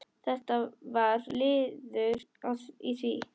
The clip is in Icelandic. Þetta var liður í því.